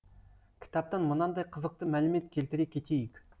кітаптан мынандай қызықты мәлімет келтіре кетейік